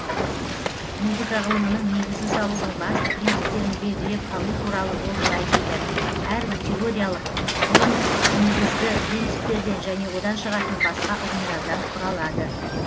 музыка ғылымының негізін салудың басты принциптерін белгілеп алу туралы ол былай дейді әрбір теориялык ғылым негізгі принциптерден және одан шығатын басқа ұғымдардан құралады